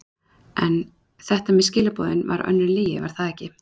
En þetta með skilaboðin var önnur lygi, var það ekki?